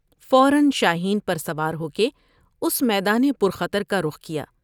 فورا شاہین پر سوار ہو کے اس میدان پر خطر کا رخ کیا ۔